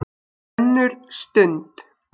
ÖNNUR STUND